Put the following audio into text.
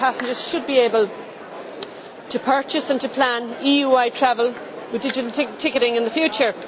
Therefore passengers should be able to purchase and to plan EU wide travel with digital ticketing in the future.